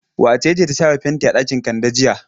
Wace ce ta shafa fenti a ɗakin Kande jiya?